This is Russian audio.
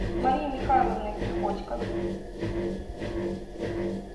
марией михайловной приходько